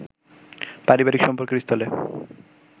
পারিবারিক সম্পর্কের স্থলে